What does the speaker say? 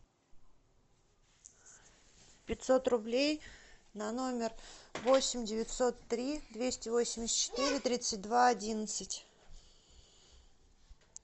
пятьсот рублей на номер восемь девятьсот три двести восемьдесят четыре тридцать два одиннадцать